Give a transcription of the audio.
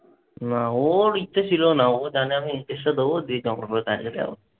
না। ওর ইচ্ছে ছিলও না। ও জানে আমি দিতে হবে যাবো।